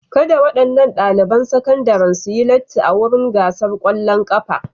Kada waɗannan ɗaliban sakandaren su yi latti a wurin gasar ƙwallon ƙafa.